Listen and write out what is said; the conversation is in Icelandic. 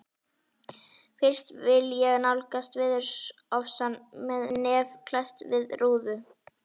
Fyrst vil ég nálgast veðurofsann með nef klesst við rúðu.